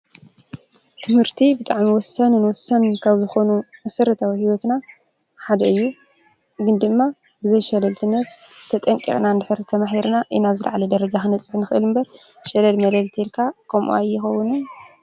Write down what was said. ት/ቲ ብጣዕሚ ወሳንን ወሳንን ካብ ዝኾኑ መሰረታዊ ሂወትና ሓደ እዩ፡፡ ግን ድማ ብዘይሸለልትነት ተጠንቂቕና እንድሕር ተማሂርና ኢና ናብ ዝላዓለ ደረጃ ክንበፅሕ ንኽእል እምበር ሸለል መለል እንተልካ ከምኡ ኣይኸውንን ::